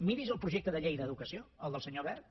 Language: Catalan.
miri’s el projecte de llei d’educació el del senyor wert